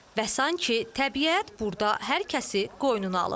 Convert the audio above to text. Və sanki təbiət burda hər kəsi qoynuna alıb.